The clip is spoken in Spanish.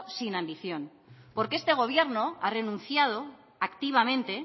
sin ambiciones porque este gobierno ha renunciado activamente